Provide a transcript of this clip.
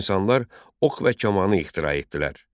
İnsanlar ox və kamani ixtira etdilər.